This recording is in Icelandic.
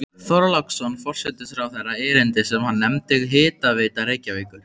Þorláksson forsætisráðherra erindi sem hann nefndi Hitaveita Reykjavíkur.